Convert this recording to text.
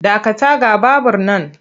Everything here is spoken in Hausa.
Dakata ga babur nan!